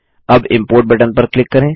अब import button पर click करें